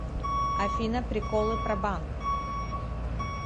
афина приколы про банк